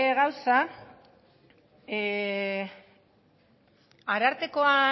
gauza arartekoa